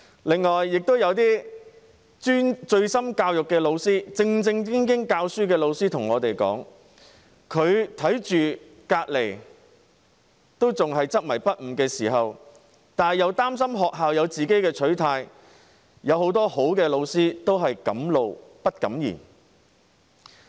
另外，有些醉心教育、正正經經教書的老師向我們說，即使看到同事仍然執迷不悟，由於擔心學校有自己的取態，很多好老師都是敢怒不敢言。